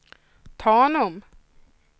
Tanum